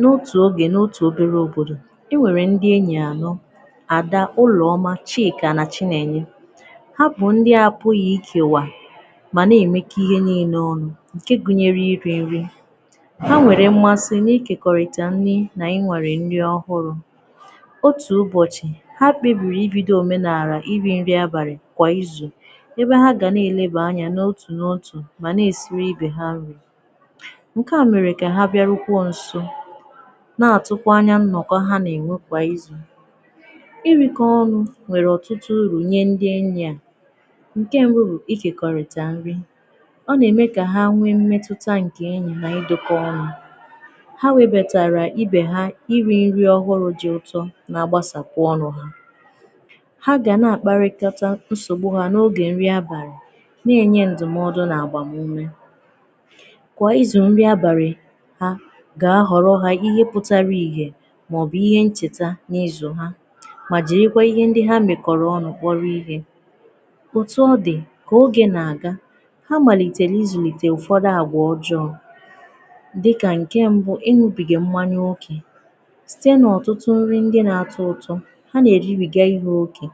N’otù ogè n’otù obelè òbodò e nwerè ndị enyì anọ̀ Adà, Ụlọmà, Chịkà nà Chịnenyè ha bụ̀ ndị apụ̀ghị̀ ikewà manà na-emekọ̀ ihe nine ọnụ̀ nkè gụ̀nyerè irì nrì ha nwerè mmasị̀ n’ikekọ̀rị̀tà nrì n’ịnwàrị̀ nrì ọhụrụ̀ ọtù ụbọchị̀ ha kpebirì ibidò omènaalà irì nrì abalị̀ kwà izù ebè hà ga na-elebà anya nò n’otù mà na-esirì ibè hà nrì nke à merè kà ha bịarukwà nsò na-atụkwà nnọ̀kọ̀ ha nà enwè kwà izù irikọ̀ ọnụ̀ nwerè ọtụtụ urù nyè ndị enyì à nkè mbụ̀ bụ̀ ikèkọ̀rịtà nrì ọ na-emè kà hà nwè mmètutà nkè nrì na ịdụkọ̀ ọnụ̀ ha webàtarà ibè hà irì nrì ọhụrụ̀ dị̀ ụtọ̀ na-agbàsàkwà ọnụ̀ ha gà na-akpàrịkọtà nsogbù ha n’ogè nrì abalị̀ na-enyè ndụ̀mọ̀dụ̀ nà agbàmumè kwà izù nrì abalị̀ ha ga-ahọrọ̀ ha ihe pụ̀tarà ihè maọ̀bụ̀ ihe nchetà n’ịzụ̀ hà mà jirì ihe ndị ha mekọ̀rọ̀ ọnụ̀ kpọ̀rọ̀ ihe otù ọdị̀ kà ogè na-agà ha maliterè izulitè ụfọdụ̀ àgwà ọjọọ̀ dịkà nke mbụ̀, ịn̄ụ̀bigà mmanyà okē sitē n’ọtụtụ nrì ndị na-atọ̀ ụtọ̀ ha na-eribigà ihe okē